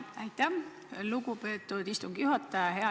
Aitäh, lugupeetud istungi juhataja!